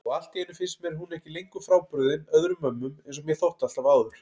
Og alltíeinu finnst mér hún ekki lengur frábrugðin öðrum mömmum einsog mér þótti alltaf áður.